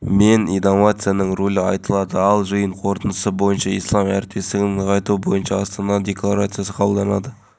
жаз шықса алакөл жаққа аңсары ауып тұратындар қатары жыл сайын артып келеді бас-аяғы бірнеше айдың ішінде